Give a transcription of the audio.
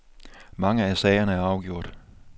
Mange af sagerne er afgjort.